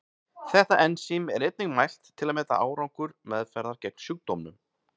Þetta ensím er einnig mælt til að meta árangur meðferðar gegn sjúkdómnum.